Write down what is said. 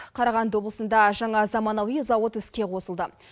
қарағанды облысында жаңа заманауи завод іске қосылды